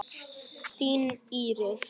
Þín, Íris.